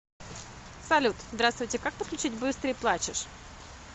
салют здравствуйте как подключить быстрый плачешь